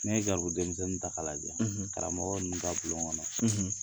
N'i ye gɛribudenmisɛnnin ta k'a lajɛ, karamɔgɔ ninnu ka bulon kɔnɔ